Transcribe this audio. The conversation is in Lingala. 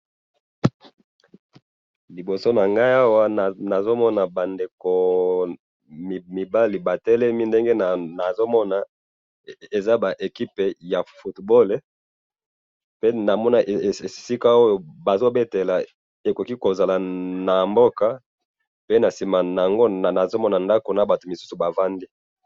liboso nanga awa nazomona ba ndeko mibali bate, lemi ndenge namoni yango eza equipe ya football ndenge nazomona b moko ba telemi ba misusu ba vandi na sima na bango.